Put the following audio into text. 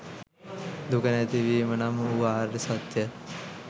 දුක නැතිවීම නම් වූ ආර්ය සත්‍යය